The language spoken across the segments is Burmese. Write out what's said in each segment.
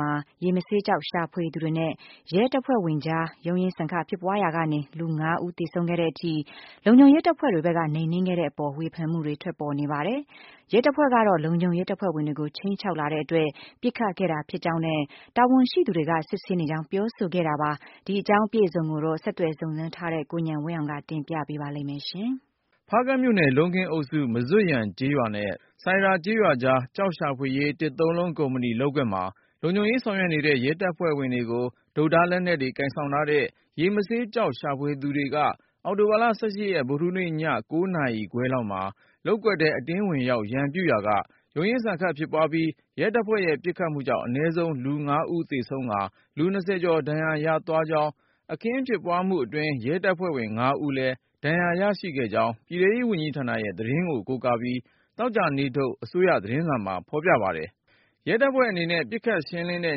မှာ ရေမဆေးကျောက် ရှာဖွေသူတွေနဲ့ ရဲတပ်ဖွဲ့ဝင်တွေကြား ရုန်းရင်းဆန်ခတ် ဖြစ်ပွားရာက လူ ၅ ဦးသေဆုံးခဲ့တဲ့အထိ လုံခြုံရေးတပ်ဖွဲ့က နှိမ်နင်းခဲ့တဲ့အပေါ် ဝေဖန်မှုတွေ ထွက်ပေါ်နေပါတယ်။ ရဲတပ်ဖွဲ့ကတော့ လုံခြုံရေးတပ်ဖွဲ့ဝင်တွေကို ခြိမ်းခြောက်လာတဲ့အတွက် ပစ်ခတ်ခဲ့ရတာဖြစ်ကြောင်းနဲ့ တာဝန်ရှိသူတွေကို စစ်ဆေးနေကြောင်း ပြောပါတယ်။ ဆက်သွယ်စုံစမ်းထားတဲ့ ကိုဉာဏ်ဝင်းအောင်က အပြည့်အစုံကို ပြောပြမှာပါ။ ဖားကန့်မြို့နယ် လုံးခင်းအုပ်စု မဇွတ်ယန်ကျေးရွာနဲ့ ဆိုင်ရာကျေးရွာကြား ကျောက်ရှာဖွေရေး တစ်သုံးလုံး ကုမ္ပဏီလုပ်ကွက်မှာ လုံခြုံရေး ဆောင်ရွက်နေတဲ့ ရဲတပ်ဝင်တွေကို တုတ်၊ ဓါး လက်နက်တွေ ကိုင်ဆောင်ထားတဲ့ ရေမဆေးကျောက် ရှာသူတွေက အောက်တိုဘာ ၁၈ ရက် ဗုဒ္ဓဟူးနေ့ည ၉ နာရီခွဲလောက်မှာ လုပ်ကွက်ထဲ အတင်းဝင်ရောက် ရန်ပြုရာက ရုန်းရင်းဆန်ခတ် ဖြစ်ပွားပြီး၊ ရဲတပ်ဖွဲ့ရဲ့ပစ်ခတ်မှုကြောင့် အနည်းဆုံးလူ ၅ ဦးသေဆုံးကာ လူ ၂၀ ကျော်ဒဏ်ရာရသွားကြောင်း၊ အခင်းဖြစ်ပွားမှုအတွင်း ရဲတပ်ဖွဲ့ဝင် ၅ ဦးလဲ ဒဏ်ရာရခဲ့ကြောင်း ပြည်ထဲရေးဝန်ကြီးဌာနရဲ့သတင်းကို ကိုးကားပြီး သောကြာနေ့ထုတ် အစိုးရသတင်းစာမှာ ဖေါ်ပြပါတယ်။ ရဲတပ်ဖွဲ့အနေနဲ့ ပစ်ခတ်ဖြေရှင်းတဲ့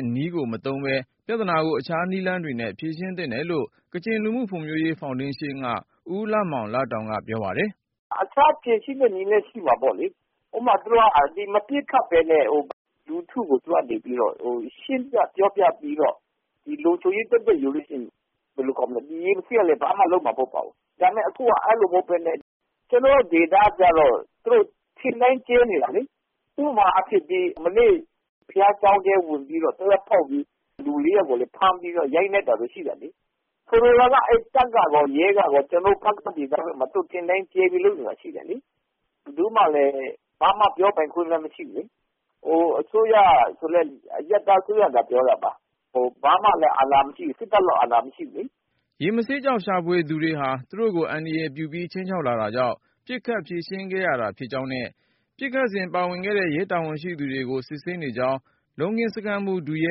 နည်း မသုံးပဲ ပြဿနာကို အခြားနည်းလမ်းတွေနဲ့ ဖြေရှင်းသင့်တယ်လို့ ကချင်လူူမှုဖွံ့ဖြိုးရေးဖေါင်ဒေးရှင်းက ဦးလမောင်လတောင်က ပြောပါတယ်။ " အခြားဖြေရှင်းတဲ့နည်းလည်း ရှိမှာပေါ့လေ ဥပမာ မပစ်ခတ်ပဲနဲ့ လူထုကို သူတို့ကနေပြီးတော့ ရှင်းပြပြောပြပြီးတော့ ဒီလုံခြုံရေးယူလိုက်လို့ရှိရင် ဘယ်လိုခေါ်မလဲ ရေမဆေးကလည်း ဘာမှလုပ်မှာမဟုတ်ပါဘူး ဒါပေမဲ့ အခုက အဲ့လိုမဟုတ်ပဲနဲ့ ကျနော်တို့ဒေသကျတော့ သူတို့ထင်တိုင်းကျဲနေတာလေ ဥပမာအားဖြင့် မနေ့တုန်းက ဘုရားကျောင်းထဲ ဝင်ပြီးတော့ သေနတ်ဖောက်ပြီး လူ၄ယောက်ကို ဖမ်းပြီး ရိုက်နှက်တာတွေ ရှိတယ်လေ ဆိုလိုတာက တပ်ကရော ရဲကရော ကျနော်တို့ ဖားကန့်ဒေသဘက်မှာ ထင်တိုင်းကျဲပြီး လုပ်နေတာရှိတယ်လေ ဘယ်သူမှလည်း ဘာမှ ပြောပိုင်ခွင့်မရှိဘူးလေ ဟို အစိုးရကလည်း အရပ်သားအစိုးရသာပြောတာ ဘာမှကို အာဏာမရှိဘူး စစ်တပ်လောက်တောင် အာဏာမရှိဘူးလေ။" ရေမဆေးကျောက် ရှာဖွေသူတွေဟာ သူတို့ကို အန္တရာယ်ပြုပြီး ခြိမ်းခြောက် လာတာကြောင့် ပစ်ခတ်ဖြေရှင်းခဲ့ရတာဖြစ်ကြောင်းနဲ့ ပစ်ခတ်စဉ် ပါဝင်တဲ့ ရဲတာဝန်ရှိသူတွေကို စစ်ဆေးနေကြောင်း လုံးခင်းစခန်းမှူး ဒုရဲ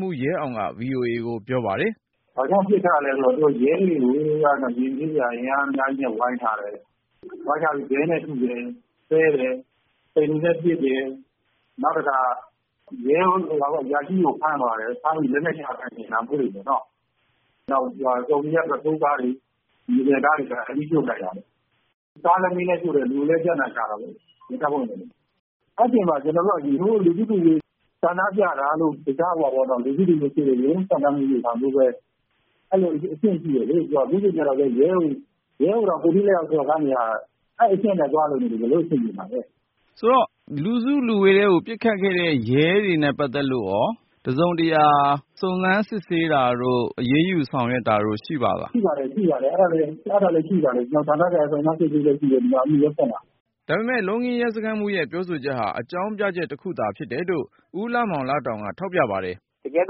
မှူး ရဲအောင်က VOA ကိုပြောပါတယ်။ " ဘာကြောင့်ပစ်ခတ်ရသလဲဆိုတော့ ရဲတွေကို ရေမဆေးတွေက အင်အားအများကြီးနဲ့ ဝိုင်းထားတာ ဝိုင်းထားပြီးတော့ ခဲနဲ့ထုတယ် ဆဲတယ်။ ပစ်တယ် နောက် ရဲအရာရှိကို ဖမ်းသွားတယ်။ ဖမ်းသွားပြီး လက်နက်ကိုင် ယူတယ် ဒါမျိုးတွေပေါ့နော် နောက် ကားတွေ မြေသယ်ကားတွေကိုလည်း မီးရှို့ပစ်လိုက်တယ် ကားကိုလည်းမီးရှို့တယ် လူကိုလည်း ပြသနာရှာတာပေါ့ အဲ့တာကြောင့် ကျနော်တို့က လူစုလူဝေးနဲ့ဆန္ဒပြတာတို့ ရုန့်ရင်းဆန်ခတ်မှုတွေမှာ ရဲကိုတောင် ကိုယ်ထိလက်ရောက်စော်ကားနေတာ အဲ့အဆင့်နဲ့ ဘယ်လိုသွားလုပ်လို့ဘယ်လိုအဆင်ပြေမှာလဲ။" မေး။ ။ ဆိုတော့ လူစုလူဝေးထဲ ပစ်ခတ်ခဲ့တဲ့ ရဲတွေနဲ့ပတ်သက်လို့ရော တစုံတရာ စုံစမ်းစစ်ဆေးတာတို့ အရေးယူဆောင်ရွက်တာတို့ရှိပါသလား။ " ရှိပါတယ် ရှိပါတယ် အဲ့တာလည်းရှိပါတယ် ကျနော်တို့ ဌာနဆိုင်ရာ စုံစမ်းစစ်ဆေးလျက်ရှိတယ် ရဲစခန်းမှာ။" ဒါပေမယ့် လုံးခင်းရဲစခန်းမှူးရဲ့ ပြောဆိုချက်ဟာ အကြောင်းပြချက် တခုသာဖြစ်တယ်လို့ ဦးလမောင်လတောင်က ထောက်ပြပါတယ်။ " တကယ်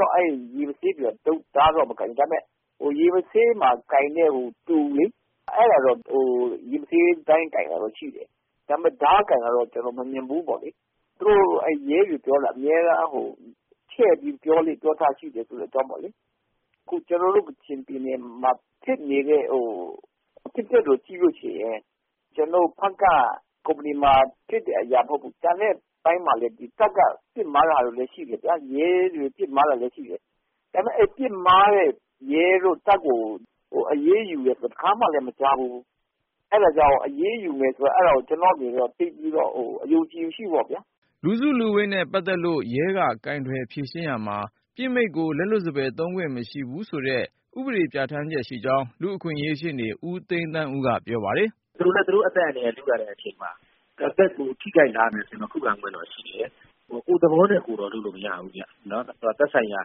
တော့ အဲ့ရေမဆေးတွေက တုတ် ဓားတော့မကိုင်ဘူး ဒါပေမဲ့ ရေမဆေးမှာ ကိုင်တဲ့ တူလေ အဲ့တာတော့ ရေမဆေးတိုင်းကိုင်တယ် ဒါပေမဲ့ ဓားကိုင်တာတော့ ကျနော် မမြင်ဘူးပေါ့လေ သူတို့ရဲတွေက အမြဲတမ်း ချဲ့ပြီး ပြောလေ့ပြောထရှိတယ် ဆိုတဲ့အကြောင်းပေါ့လေ အခု ကျနော်တို့ ကချင်ပြည်နယ်မှာဖြစ်နေတဲ့ အဖြစ်အပျက်တွေကို ကြည့်လို့ရှိရင် ကျနော် ဖားကန့်မှာဖြစ်တဲ့ကုမ္ပဏီမှာဖြစ်တဲ့ အကြောင်းအရာတင်မဟုတ်ဘူး ကျန်တဲ့အပိုင်းမှာလည်း တပ်က ပစ် မှားတာလည်း ရှိတယ် ရဲက ပစ် မှားတာလည်းရှိတယ်ဗျာ ဒါပေမဲ့ ပစ် မှားတဲ့ရဲကို တပ်ကို အရေးယူတယ်ဆိုတာ တခါမှာလည်း မကြားဘူး အဲ့တာကြောင့် အရေးယူမယ်ဆိုတာ အဲ့တာကို ကျနော်အနေနဲ့ အဲ့တာကို သိပ်ပြီးတော့ အယုံအကြည်မရှိဘူးပေါ့ဗျာ။" လူစုလူဝေးနဲ့ပတ်သက်လို့ ရဲက ကိုင်တွယ်ဖြေရှင်းရာမှာ ပစ်မိန့်ကို လက်လွတ်စပယ် သုံးခွင့်မရှိဘူးဆိုတဲ့ ဥပဒေပြဌာန်းချက်ရှိကြောင်း လူ့အခွင့်ရေးရှေ့နေ ဦးသိန်းသန်းဦးက ပြောပါတယ်။ "သူတို့လည်း သူတို့အသက်အန္တရာယ်ကို ထိခိုက်လာနိုင်တယ်ဆိုရင်တော့ ခုခံခွင့်တော့ရှိတယ် ကိုယ့်သဘောနဲ့ကိုယ်တော့ လုပ်လို့မရဘူး။ သက်ဆိုင်ရာ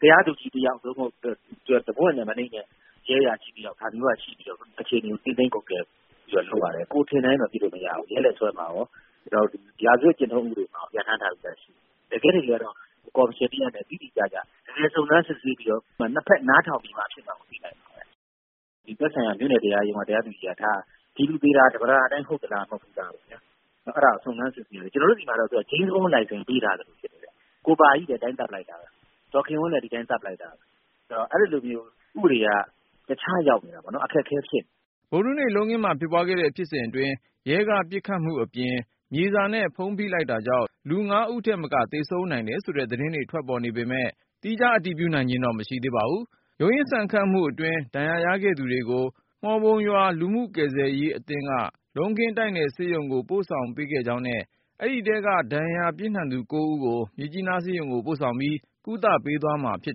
တရားသူကြီးတယောက် နောက် တစ်ပွင့်ထက် မနိမ့်တဲ့ရဲအရာရှိတယောက်ကနေ ပြီးတော့ အခြေအနေကို ထိန်းသိမ်းကွပ်ကဲမှုတော့ လုပ်ရတယ် ကိုယ်ထင်တိုင်းတော့ ပစ်လို့မရဘူး။ ရဲလက်စွဲမှာရော ရာဇဝတ်ကျင့်ထုံးဥပဒေမှာရော ပြဌာန်းထားတာရှိတယ်။ တကယ့်တကယ်တော့ ကော်မရှင်တရပ်နဲ့ တိတိကျကျ တကယ်စုံစမ်းစစ်ဆေးပြီးတော့ နှစ်ဘက်နားထောင်ပြီးတော့ သက်ဆိုင်ရာ မြို့နယ်တရားရုံးက ဒီလူသေတာ ဓမ္မတာအတိုင်း ဟုတ်သလားမဟုတ်သလား စုံစမ်းစစ်ဆေးရမယ် ကျနော်တို့ဆီမှာက ဂျိမ်းစဘွန်းလိုင်စင်ပေးထားသလိုပဲ ကိုပါကြီးလည်း ဒီအတိုင်းသတ်ပစ်လိုက်တာပဲ ဒေါ်ခင်ဝင်းလည်း ဒီအတိုင်းသတ်ပစ်လိုက်တာပဲ အဲ့တော့ ဥပဒေက တခြားရောက်နေတာပေါ့ အခက်အခဲဖြစ်နေတာပေါ့။ " ဗုဒ္ဓဟူးနေ့ လုံးခင်းမှာဖြစ်ပွားခဲ့တဲ့ ဖြစ်စဉ်အတွင်း ရဲကပစ်ခတ်မှုအပြင် မြေစာနဲ့ ဖုံးဖိလိုက်တာကြောင့် လူ ၅ ဦးထက်မက သေဆုံးနိုင်တယ် ဆိုတဲ့ သတင်းတွေ ထွက်ပေါ်နေပေမယ့် သီးခြား အတည်ပြုနိုင်ခြင်းတော့ မရှိသေးပါဘူး။ ရုန်းရင်းဆန်ခတ်မှုအတွင်း ဒဏ်ရာရခဲ့သူတွေကို မှော်ပုံရွာ လူမှုကယ်ဆယ်ရေးအသင်းက လုံးခင်းတိုက်နယ်ဆေးရုံကို ပို့ဆောင်ပေးခဲ့ကြောင်းနဲ့ အဲဒီထဲက ဒဏ်ရာပြင်းထန်သူ ၉ ဦးကို မြစ်ကြီးနားဆေးရုံကို ပို့ဆောင်ပြီး ကုသပေးသွားမှာ ဖြစ်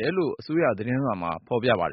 တယ်လို့ အစိုးရသတင်းမှာ ဖေါ်ပြပါတယ်